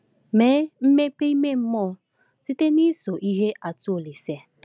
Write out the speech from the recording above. Mee mmepe ime mmụọ site n’iso ihe atụ Olise.